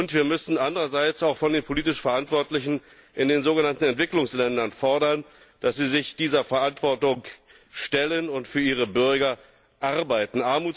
Wir müssen andererseits auch von den politisch Verantwortlichen in den sogenannten Entwicklungsländern fordern, dass sie sich dieser Verantwortung stellen und für ihre Bürger arbeiten.